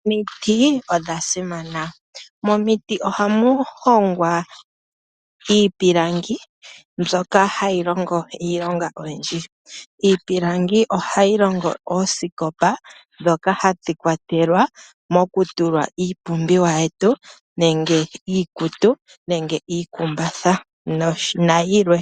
Omiti odha simana, momiti ohamu hongwa iipilangi Hayi longo iilonga oyindji. Iipilangi ohayi longo oosikopa dhoka hadhi kwatelwa mokutula iipumbiwa yetu ngaashi iikutu, iikumbatha nayilwe